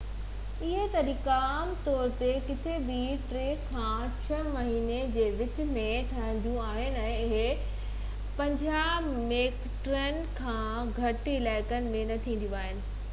اهي تقريبون عام طور تي ڪٿي بہ ٽي کان ڇهہ مهينن جي وچ ۾ ٿينديون آهن ۽ اهي 50 هيڪٽرن کان گهٽ علائقن ۾ نہ ٿينديون آهن